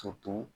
Toto